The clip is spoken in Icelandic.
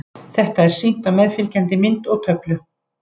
Þetta er sýnt á meðfylgjandi mynd og töflu.